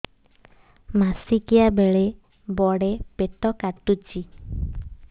ମାସିକିଆ ବେଳେ ବଡେ ପେଟ କାଟୁଚି